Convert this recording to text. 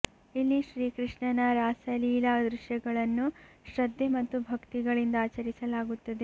ಇಲ್ಲಿ ಶ್ರೀ ಕೃಷ್ಣನ ರಾಸ ಲೀಲಾ ದೃಶ್ಯಗಳನ್ನು ಶ್ರದ್ದೆ ಮತ್ತು ಭಕ್ತಿಗಳಿಂದ ಆಚರಿಸಲಾಗುತ್ತದೆ